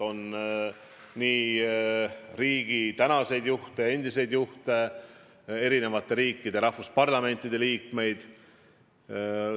On nii endiseid kui ka praegusi riigijuhte, eri riikide parlamentide liikmeid.